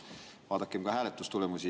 Vaadakem ka hääletustulemusi.